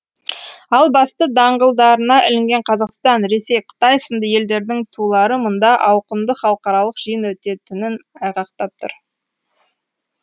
ал басты даңғылдарына ілінген қазақстан ресей қытай сынды елдердің тулары мұнда ауқымды халықаралық жиын өтетінін айғақтап тұр